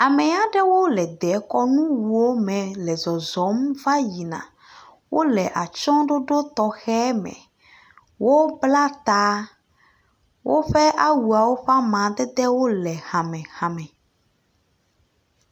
Ame aɖewo le dekɔnuwo me le zɔzɔm va yina, wole atsyɔɖoɖo tɔxɛ me, wobla taa, woƒe awuawo ƒe amadedewo le hamehame.